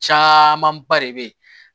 Camanba de be yen